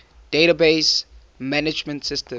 database management systems